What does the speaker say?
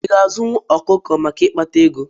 I ga-azụ ọkụkọ maka ikpata ego?